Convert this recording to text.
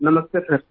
नमस्ते सर